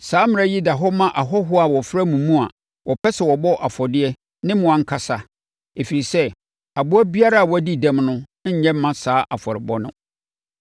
Saa mmara yi da hɔ ma ahɔhoɔ a wɔfra mo mu a wɔpɛ sɛ wɔbɔ afɔdeɛ ne mo ankasa, ɛfiri sɛ, aboa biara a wadi dɛm no nyɛ mma saa afɔrebɔ no.’ ”